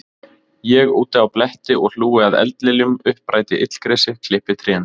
Ég úti á bletti og hlúi að eldliljum, uppræti illgresi, klippi trén.